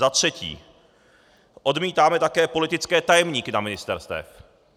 Za třetí, odmítáme také politické tajemníky na ministerstvech.